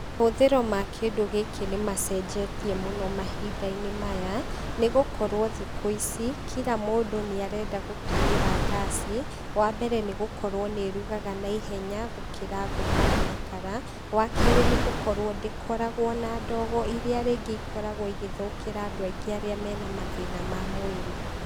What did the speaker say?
Mahũthĩro ma kindũ gĩkĩ nĩmacenjetie mũno mahinda-inĩ maya, nĩgũkorwo thikũ ici, kira mũndũ nĩarenda gũtũmĩra ngaic, wa mbere, nĩgũkorwo nĩ irugaga na ihenya gũkĩra ngũ kana makara, wa kerĩ, nĩ gũkorwo ndĩkoragwo na ndogo ĩrĩa rĩngĩ ikoragwo igĩthũkĩra andũ aingĩ arĩa mena mathĩna ma mwĩrĩ.